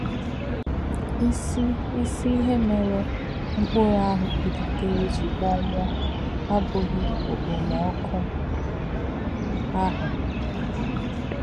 Ísí̄ Ísí̄ íhè̄ mè̄rè̄ mkpụ̀rụ́ àhū̄ pụ̀lítèrè̄ jí̄ kpònwụ̄ọ́ àbụ̀ghí̄ ọ̀kpòmọ̀kụ́ àhū̄.